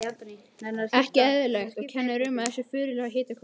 Ekki eðlilegt, og kennir um þessu furðulega hitakófi.